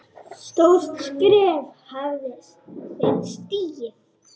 Stórt skref hafði verið stigið.